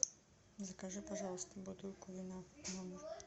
закажи пожалуйста бутылку вина в номер